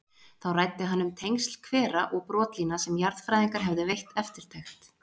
Þá ræddi hann um tengsl hvera og brotlína sem jarðfræðingar hefðu veitt eftirtekt.